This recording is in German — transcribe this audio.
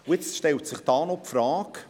Hier stellt sich jetzt die Frage: